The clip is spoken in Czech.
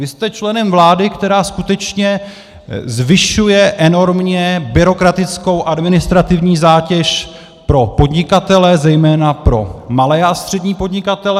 Vy jste členem vlády, která skutečně zvyšuje enormně byrokratickou administrativní zátěž pro podnikatele, zejména pro malé a střední podnikatele.